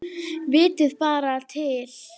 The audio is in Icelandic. Vitiði bara til!